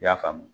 I y'a faamu